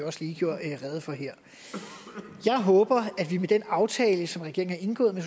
også lige gjorde rede for her jeg håber at vi med den aftale som regeringen har indgået med